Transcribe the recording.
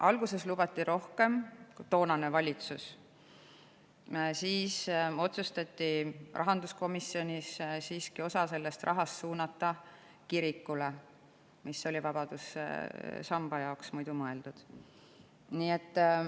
Alguses lubas toonane valitsus rohkem, siis otsustati rahanduskomisjonis siiski osa sellest rahast, mis oli mõeldud vabadussamba jaoks, suunata kirikule.